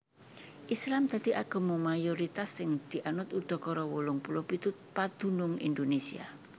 Islam dadi agama mayoritas sing dianut udakara wolung puluh pitu padunung Indonésia